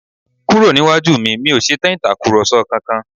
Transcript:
Kúrò níwájú mi, mi ò ṣetán Ìtàkùrọ̀sọ kankan!